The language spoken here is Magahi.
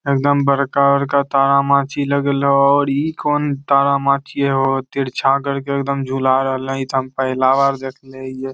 एकदम बड़का-बड़का तारा माची लगल होअ और इ कौन तारा माची होअ तिरछा करके एकदम झूला रहले हेय इ ते हम पहला बार देखले हीये।